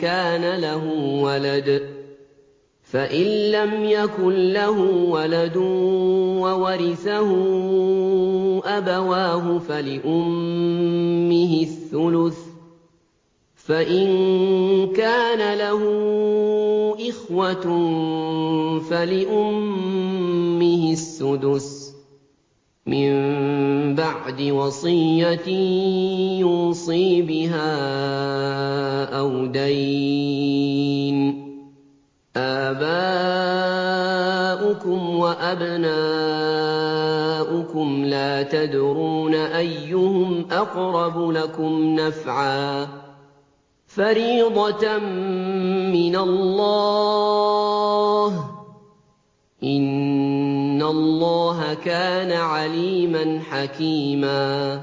كَانَ لَهُ وَلَدٌ ۚ فَإِن لَّمْ يَكُن لَّهُ وَلَدٌ وَوَرِثَهُ أَبَوَاهُ فَلِأُمِّهِ الثُّلُثُ ۚ فَإِن كَانَ لَهُ إِخْوَةٌ فَلِأُمِّهِ السُّدُسُ ۚ مِن بَعْدِ وَصِيَّةٍ يُوصِي بِهَا أَوْ دَيْنٍ ۗ آبَاؤُكُمْ وَأَبْنَاؤُكُمْ لَا تَدْرُونَ أَيُّهُمْ أَقْرَبُ لَكُمْ نَفْعًا ۚ فَرِيضَةً مِّنَ اللَّهِ ۗ إِنَّ اللَّهَ كَانَ عَلِيمًا حَكِيمًا